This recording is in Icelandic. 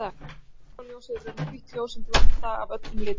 sólarljósið er í raun hvítt ljós sem er blanda af öllum litum